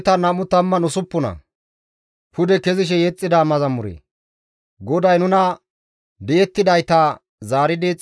GODAY nuna di7ettidayta zaaridi Xiyoone ehida wode nuus agumo misatides.